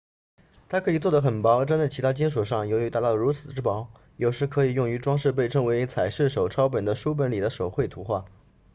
它可以做得很薄粘在其他金属上由于达到如此之薄有时可以用于装饰被称为彩饰手抄本的书本里的手绘图画